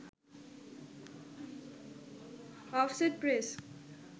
offset press